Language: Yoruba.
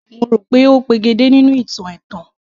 Mo rò pé ó pegedé nínú ìtàn ẹ̀tàn